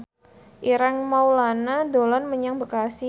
Ireng Maulana dolan menyang Bekasi